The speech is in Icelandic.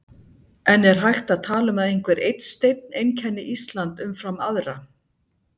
En er hægt að tala um að einhver einn steinn einkenni Ísland umfram aðra?